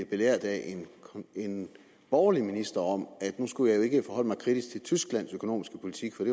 belært af en borgerlig minister om at nu skulle jeg jo ikke forholde mig kritisk til tysklands økonomiske politik for